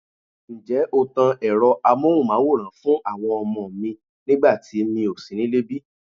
Ǹjẹ́ o tan Ẹ̀rọ amohunmaworan fún àwọn ọmọ mi nígbà tí mi ò sí nílé bí?